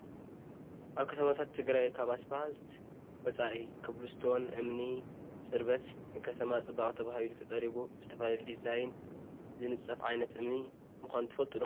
ኣብ ከተማታት ትግራይ ካብ እስፓልት ወፃኢ ከብልስቶን እምኒ ፅርበት ንከተማ ፅባቀ ተባሂሉ ተፀሪቡ ብዝተፈላለየ ዲዛይን ዝንፀፍ ዓይነት እምኒ ምኳኑ ትፈልጡ ዶ?